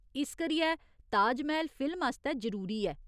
इस करियै, ताजमैह्‌ल फिल्म आस्तै जरूरी ऐ।